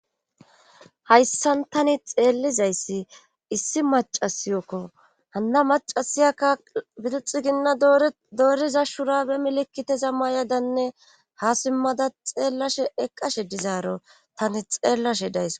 hayssan tani xeellizayssi issi macasiyokko hanna macasiyaka bituxu ginna dooriza shurabe milekiteza mayadanne ha simmada xeellashe eqqashe dizaaro tani xeellashe days